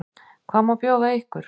Hvað má bjóða ykkur?